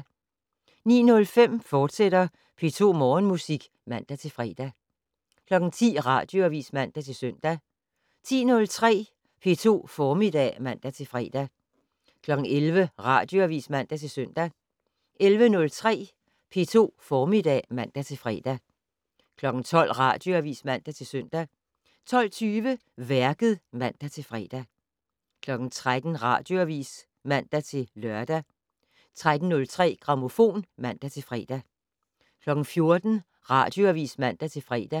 09:05: P2 Morgenmusik, fortsat (man-fre) 10:00: Radioavis (man-søn) 10:03: P2 Formiddag (man-fre) 11:00: Radioavis (man-søn) 11:03: P2 Formiddag (man-fre) 12:00: Radioavis (man-søn) 12:20: Værket (man-fre) 13:00: Radioavis (man-lør) 13:03: Grammofon (man-fre) 14:00: Radioavis (man-fre)